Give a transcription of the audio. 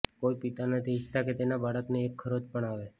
કોઈ પિતા નથી ઈચ્છતા કે તેના બાળકને એક ખરોચ પણ અવે